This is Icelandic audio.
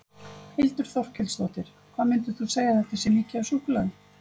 Þórhildur Þorkelsdóttir: Hvað myndir þú segja að þetta sé mikið af súkkulaði?